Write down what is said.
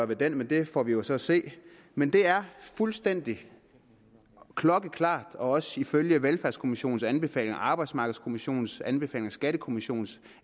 ved den men det får vi jo så at se men det er fuldstændig klokkeklart også ifølge velfærdskommissionens anbefalinger arbejdsmarkedskommissionens anbefalinger og skattekommissionens